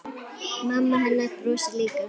Mamma hennar brosir líka.